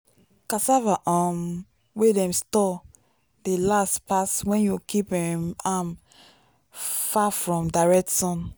cassava um wey dem store dey last pass when you keep um am far from direct sun.